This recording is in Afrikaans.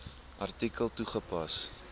artikel toegepas